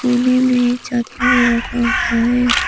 कोने में एक छाता भी रखा हुआ है।